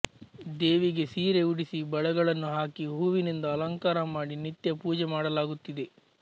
ದೇವಿಗೆ ಸೀರೆ ಉಡಿಸಿ ಬಳೆಗಳನ್ನು ಹಾಕಿ ಹೂವಿನಿಂದ ಅಲಂಕಾರ ಮಾಡಿ ನಿತ್ಯಪೂಜೆ ಮಾಡಲಾಗುತ್ತಿದೆ